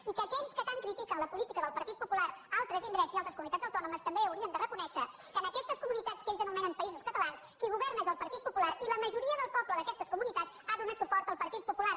i que aquells que tan critiquen la política del partit popular a altres indrets i a altres comunitats autònomes també haurien de reconèixer que en aquestes comunitats que ells anomenen països catalans qui governa és el partit popular i la majoria del poble d’aquestes comunitats ha donat suport al partit popular